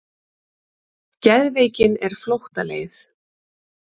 Geðveikin er flóttaleið.